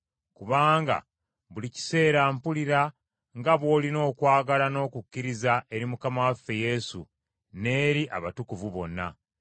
kubanga buli kiseera mpulira nga bw’olina okwagala n’okukkiriza eri Mukama waffe Yesu n’eri abatukuvu bonna.